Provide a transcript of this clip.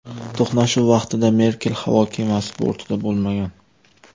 To‘qnashuv vaqtida Merkel havo kemasi bortida bo‘lmagan.